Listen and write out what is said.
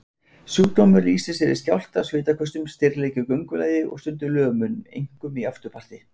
Sjúkdómurinn lýsir sér í skjálfta, svitaköstum, stirðleika í göngulagi og stundum lömun, einkum í afturparti.